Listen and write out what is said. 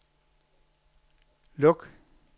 luk